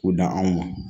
K'u dan anw ma